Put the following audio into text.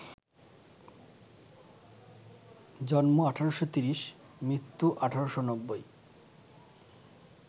জন্ম ১৮৩০, মৃত্যু ১৮৯০